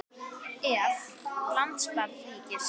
Ef. lands barns ríkis